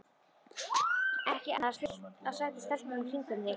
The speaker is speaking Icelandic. Er ekki annars fullt af sætum stelpum í kringum þig?